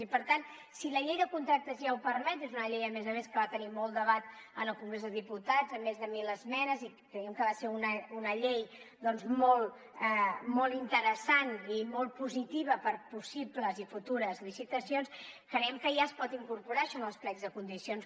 i per tant si la llei de contractes ja ho permet és una llei a més a més que va tenir molt debat en el congrés de diputats amb més de mil esmenes i creiem que va ser una llei doncs molt interessant i molt positiva per a possibles i futures licitacions creiem que ja es pot incorporar això en els plecs de condicions